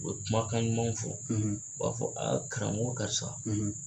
U bɛ kumakan ɲumanw fɔ u b'a fɔ karamɔgɔ karisa.